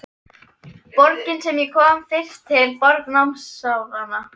Borgin sem ég kom fyrst til, borg námsáranna.